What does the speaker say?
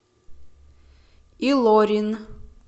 илорин